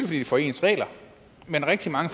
vi få ens regler men rigtig mange